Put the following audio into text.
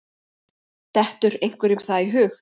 Dettur einhverjum það í hug?